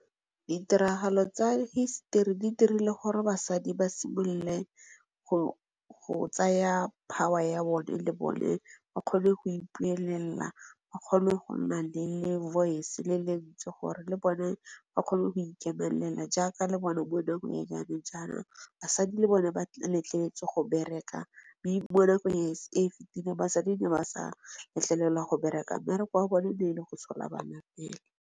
Di tiragalo tsa hisetori di dirile gore basadi ba simolole go tsaya power ya bone le bone ba kgone go ipuelela, ba kgone go nna le voice le lentswe gore le bone ba kgone go ikemelela jaaka le bone bo nyenyane jalo basadi le bone ba letleletswe go bereka. Mme mo nakong e fetileng basadi ne ba sa letlelelwa go bereka mmereko wa bone e ne e le go tshola bana fela.